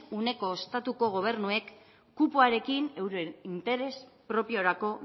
uneko estatuko gobernuek kupoarekin euren interes propiorako